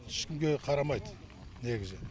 ешкімге қарамайды негізі